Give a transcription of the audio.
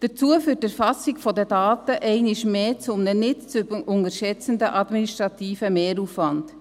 Dabei führt die Erfassung der Daten einmal mehr zu einem nicht zu unterschätzenden administrativen Mehraufwand.